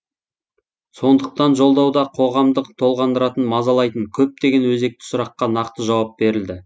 сондықтан жолдауда қоғамдық толғандыратын мазалайтын көптеген өзекті сұраққа нақты жауап берілді